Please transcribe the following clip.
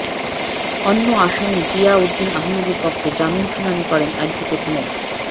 অন্য আসামি জিয়া উদ্দিন আহমেদের পক্ষে জামিন শুনানি করেন অ্যাডভোকেট মো